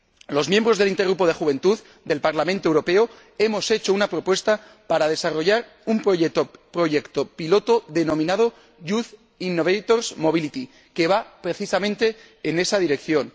Los miembros del intergrupo de juventud del Parlamento Europeo hemos hecho una propuesta para desarrollar un proyecto piloto denominado Young Innovators Mobility que va precisamente en esa dirección.